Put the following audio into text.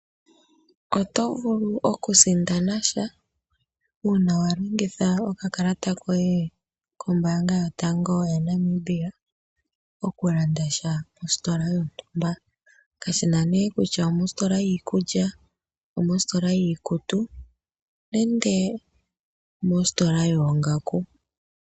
Oto vulu okusindana sha, uuna wa longitha okakalata koye kombaanga yotango yaNamibia, okulanda sha mositola yontumba, kashi na nee kutya omositola yiikulya, omositola yiikutu nenge mositola yoongaku.